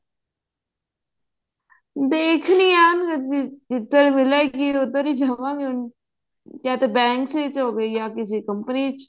ਦੇਖਣੀ ਆ ਹਜੇ ਤਾਂ ਜਿੱਧਰ ਮਿਲੇਗੀ ਉੱਧਰ ਹੀ ਜਾਵਾਂਗੇ ਹੁਣ ਯਾ ਤਾਂ bank ਵਿੱਚ ਹੋਵੇ ਜਾਂ ਕਿਸੀ company ਚ